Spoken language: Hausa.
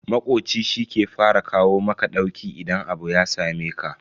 Makoci shi ke fara kawo maka ɗauki idan abu ya sameka.